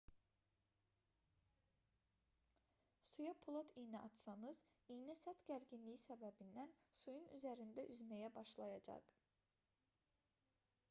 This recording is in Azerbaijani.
suya polad iynə atsanız iynə səth gərginliyi səbəbindən suyun üzərində üzməyə başlayacaq